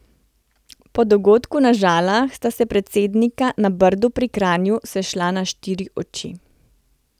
Po dogodku na Žalah sta se predsednika na Brdu pri Kranju sešla na štiri oči.